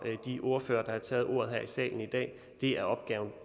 de ordførere der har taget ordet her i salen i dag det er opgaven